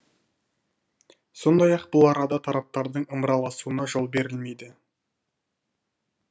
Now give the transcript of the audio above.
сондай ақ бұл арада тараптардың ымыраласуына жол берілмейді